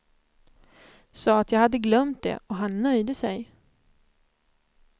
Sa att jag hade glömt det och han nöjde sig.